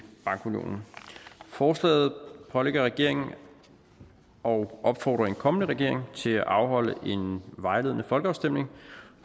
bankunionen forslaget pålægger regeringen og opfordrer en kommende regering til at afholde en vejledende folkeafstemning